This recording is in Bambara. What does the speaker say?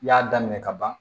I y'a daminɛ ka ban